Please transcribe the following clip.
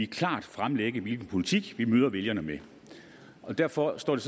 klart fremlægge hvilken politik vi vil møde vælgerne med derfor står det